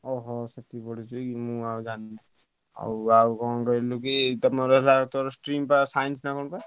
ଓହୋ ସେଠି ପଢୁଛୁ କି ମୁଁ ଆଉ ଜାଣିନି ଆଉ ଆଉ କଣ କହିଲୁ କି ତମର ହେଲାତମର stream ବ Science ନା କଣ ବା?